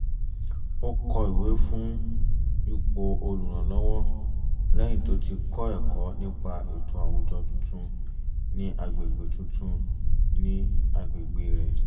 ó kọ ìwé fún ipò olùrànlọ́wọ́ lẹ́yìn tó ti kọ́ ẹ̀kọ́ nípa ètò àwùjọ tuntun ní agbègbè tuntun ní agbègbè rẹ̀